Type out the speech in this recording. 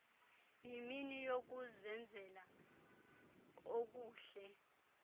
yimini yokuzenzela okuhle